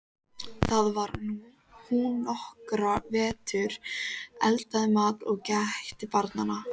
Þar var hún nokkra vetur, eldaði mat og gætti barna.